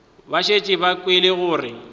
ba šetše ba kwele gore